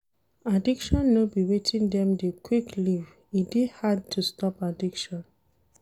Addiction no be wetin dem dey quick leave, e dey hard to stop addiction